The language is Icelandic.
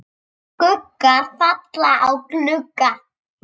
Skuggar falla á glugga.